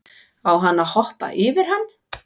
Á hann að hoppa yfir hann?